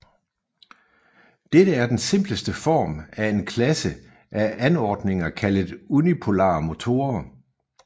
Dette er den simpleste form af en klasse af anordninger kaldet unipolare motorer